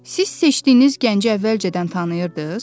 Siz seçdiyiniz gənci əvvəlcədən tanıyırdız?